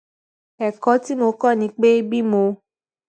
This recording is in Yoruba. èkó tí mo kó ni pé bí mo